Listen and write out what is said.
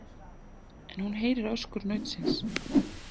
En hún heyrir öskur nautsins.